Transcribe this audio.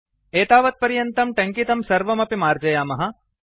एतावत् पर्यन्तं टङ्कितं सर्वमपि मार्जयामः